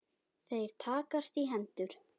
Þeir takast í hendur.